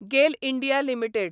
गेल India limited